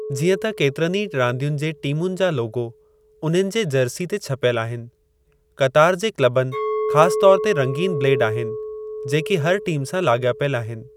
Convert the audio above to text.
जीअं त केतिरीन ई रांदियुनि जे टीमुनि जा लोगो उन्हनि जे जर्सी ते छपियल आहिनि, क़तार जे क्लबुनि ख़ासि तौर ते रंगीनु ब्लेड आहिनि जेकी हर टीम सां लाॻापियलु आहिनि।